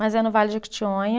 Mas é no Vale do Jequitinhonha.